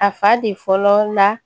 A fa de fɔlɔ la